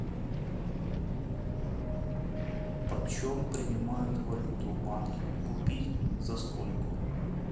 почем принимают валюту в банке купить за сколько